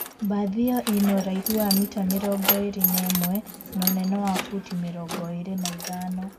Bathi iyo ina ũraihu wa mita mĩrongo irĩ na ĩmwe na ũnene wa futi mĩrongo ĩri na ithano.